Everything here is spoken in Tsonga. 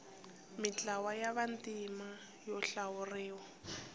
mintlawa ya vantima yo hlawuriwa